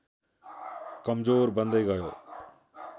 कमजोर बन्दै गयो